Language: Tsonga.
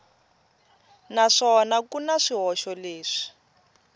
naswona ku na swihoxo leswi